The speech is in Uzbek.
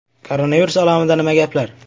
Koronavirus olamida nima gaplar?